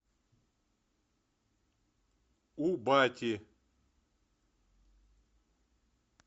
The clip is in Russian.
у бати